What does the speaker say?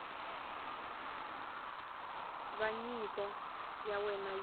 va nyiko ya wena yi